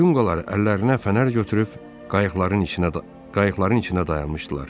Yunqalar əllərinə fənər götürüb qayıqların içinə qayıqların içinə dayanmışdılar.